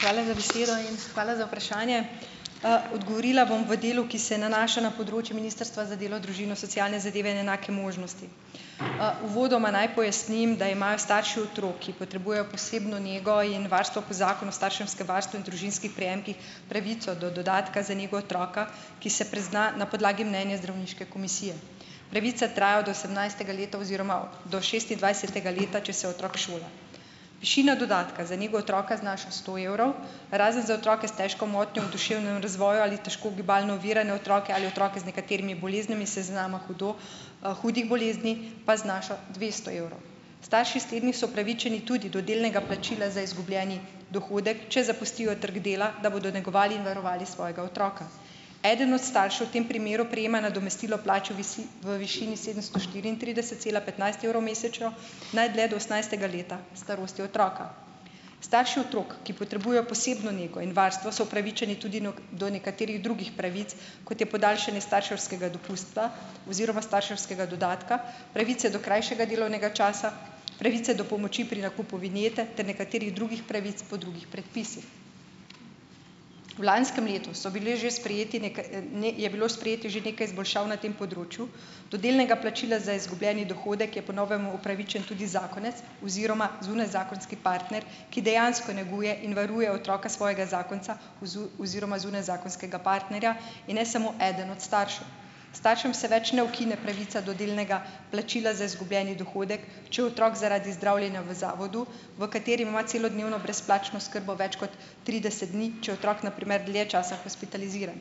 Hvala za besedo in hvala za vprašanje. Odgovorila bom v delu, ki se nanaša na področje Ministrstva za delo, družino, socialne zadeve in enake možnosti. Uvodoma naj pojasnim, da imajo starši otrok, ki potrebujejo posebno nego in varstvo po zakonu starševskem varstvu in družinskih prejemkih, pravico do dodatka za nego otroka, ki se prizna na podlagi mnenja zdravniške komisije. Pravica traja od osemnajstega leta oziroma do šestindvajsetega leta, če se otrok šola. Višina dodatka za nego otroka znaša sto evrov, razen za otroke s težko motnjo v duševnem razvoju ali težko gibalno ovirane otroke ali otroke z nekaterimi boleznimi s seznama hudo, hudih bolezni, pa znaša dvesto evrov. Starši s temi so upravičeni tudi do delnega plačila za izgubljeni dohodek, če zapustijo trg dela, da bodo negovali in varovali svojega otroka. Eden od staršev v tem primeru prejema nadomestilo plače v v višini sedemsto štiriintrideset cela petnajst evrov mesečno, najdlje do osemnajstega leta starosti otroka. Starši otrok, ki potrebujejo posebno nego in varstvo, so upravičeni tudi do nekaterih drugih pravic, kot je podaljšanje starševskega dopusta oziroma starševskega dodatka, pravice do krajšega delovnega časa, pravice do pomoči pri nakupu vinjete ter nekaterih drugih pravic po drugih predpisih. V lanskem letu so bile že sprejeti je bilo sprejetih že nekaj izboljšav na tem področju. Do delnega plačila za izgubljeni dohodek je po novem upravičen tudi zakonec oziroma zunajzakonski partner, ki dejansko neguje in varuje otroka svojega zakonca oziroma zunajzakonskega partnerja in ne samo eden od staršev. Staršem se več ne ukine pravica do delnega plačila za izgubljeni dohodek, če otrok zaradi zdravljenja v zavodu, v katerem ima celodnevno brezplačno oskrbo več kot trideset dni, če je otrok na primer dlje časa hospitaliziran.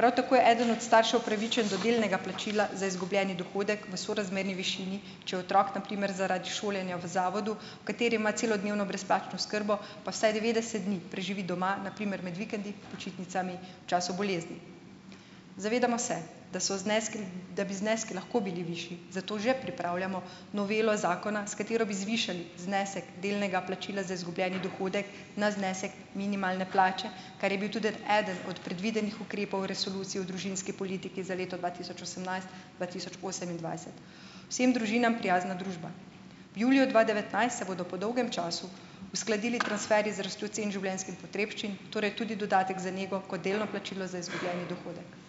Prav tako je eden od staršev upravičen do delnega plačila za izgubljeni dohodek v sorazmerni višini, če je otrok na primer zaradi šolanja v zavodu, v katerem ima celodnevno brezplačno oskrbo, pa vsaj devetdeset dni preživi doma, na primer med vikendi, počitnicami, v času bolezni. Zavedamo se, da so zneski, da bi zneski lahko bili višji, zato že pripravljamo novelo zakona, s katero bi zvišali znesek delnega plačila za izgubljeni dohodek na znesek minimalne plače, kar je bil tudi od eden od predvidenih ukrepov Resolucije o družinski politiki za leto dva tisoč osemnajst- dva tisoč osemindvajset - "vsem družinam prijazna družba". V juliju dva devetnajst se bodo po dolgem času uskladili transferji z rastjo cen življenjskih potrebščin, torej tudi dodatek za nego kot delno plačilo za izgubljeni dohodek.